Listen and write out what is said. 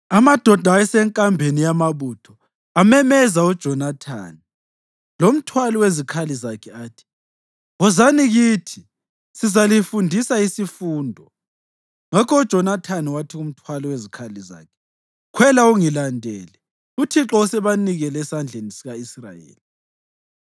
Amadoda ayesenkambeni yamabutho amemeza uJonathani lomthwali wezikhali zakhe athi, “Wozani kithi sizalifundisa isifundo.” Ngakho uJonathani wathi kumthwali wezikhali zakhe, “Khwela ungilandele; uThixo usebanikele esandleni sika-Israyeli.”